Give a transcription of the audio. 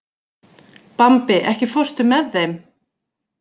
Bambi, ekki fórstu með þeim?